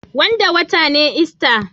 Wanda wata ne ista.